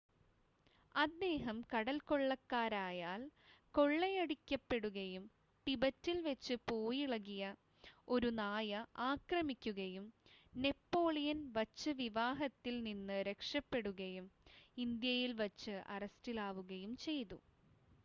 അദ്ദേഹം കടൽക്കൊള്ളക്കാരാൽ കൊള്ളയടിക്കപ്പെടുകയും ടിബറ്റിൽ വച്ച് പേയിളകിയ ഒരു നായ ആക്രമിക്കുകയും നേപ്പാളിൽ വച്ച് വിവാഹത്തിൽ നിന്ന് രക്ഷപ്പെടുകയും ഇന്ത്യയിൽ വച്ച് അറസ്റ്റിലാവുകയും ചെയ്തു